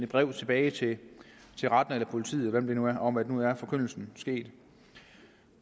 brev tilbage til retten eller politiet eller hvem det nu er om at nu er forkyndelsen sket